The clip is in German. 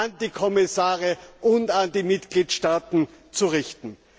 an die Kommissare und an die Mitgliedstaaten zu richten.